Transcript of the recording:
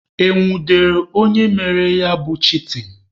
E nwudere onye mere ya bụ chitin?